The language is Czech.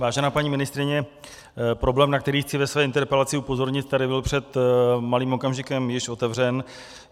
Vážená paní ministryně, problém, na který chci ve své interpelaci upozornit, tady byl před malým okamžikem již otevřen.